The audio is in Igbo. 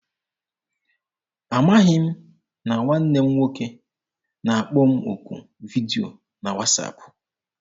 Amaghị m na nwanne m nwoke na-akpọ m okwu vidio na wasaapụ.